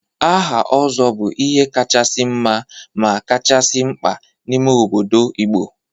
Aha Ozo bu ihe kachasi nma ma kachasi mkpa n'ime obodo Igbo.